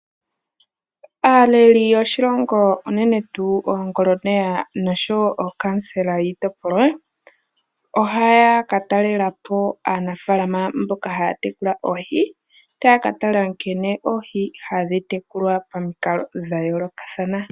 Aaleli yoshilongo unene tuu oongoloneya nosho wo ookansela yiitopolwa, ohaya ka talelapo aanafaalama mboka haya tekula oohi. Taya ka tala nkene Oohi hadhi tekulwa pa mikalo dha yoolokathana.